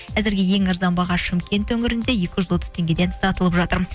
әзірге ең арзан баға шымкент өңірінде екі жүз отыз теңгеден сатылып жатыр